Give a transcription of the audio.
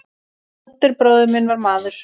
Oddur bróðir minn var maður.